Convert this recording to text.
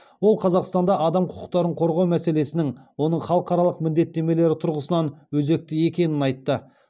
ол қазақстанда адам құқықтарын қорғау мәселесінің оның халықаралық міндеттемелері тұрғысынан өзекті екенін айтты